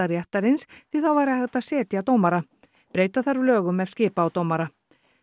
réttarins því þá væri hægt að setja dómara breyta þarf lögum ef skipa á dómara